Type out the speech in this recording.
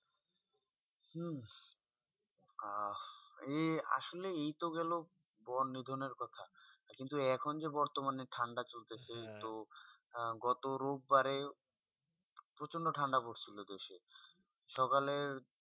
আর এ আসলে এ তো গেলো বন নিধনে কথা কিন্তু এখন যে বর্তমানে ঠান্ডা চলতে চে গত রূপ বাড়ে প্রচন্ড ঠান্ডা পর ছিল দেশে সকালে